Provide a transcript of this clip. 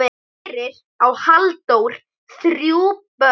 Fyrir á Halldór þrjú börn.